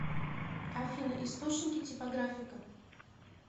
афина источники типографика